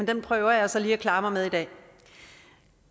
den prøver jeg så lige at klare mig med i dag